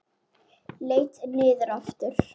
Leit niður aftur.